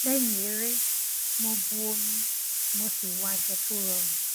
lẹyìn eré mo bu omi mo sì wọ aṣọ tó rọrùn